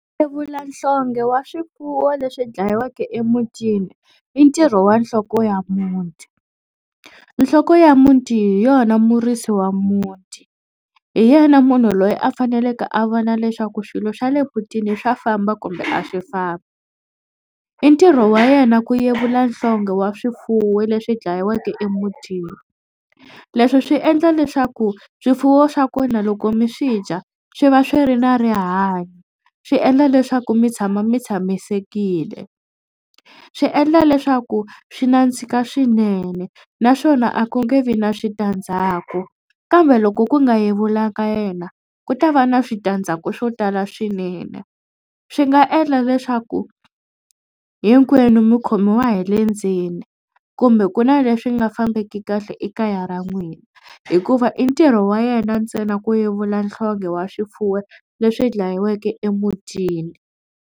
Yevula nhlonghe wa swifuwo leswi dlayiweke emutini i ntirho wa nhloko ya muti. Nhloko ya muti hi yona murisi wa muti hi yena munhu loyi a faneleke a vona leswaku swilo swa le mutini swa famba kumbe a swi fambi. I ntirho wa yena ku yevula nhlonghe wa swifuwo leswi dlayiweke emutini leswi swi endla leswaku swifuwo swa kona loko mi swi dya swi va swi ri na rihanyo. Swi endla leswaku mi tshama mi tshamisekile. Swi endla leswaku swi nandzika swinene naswona a ku nge vi na switandzhaku kambe loko ku nga yevula ka yena ku ta va na switandzhaku swo tala swinene. Swi nga endla leswaku hinkwenu mi khomiwa hi le ndzeni kumbe ku na leswi nga fambeki kahle ekaya ra n'wina hikuva i ntirho wa yena ntsena ku yevula nhlonghe wa swifuwo leswi dlayiweke emutini.